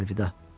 Əlvida.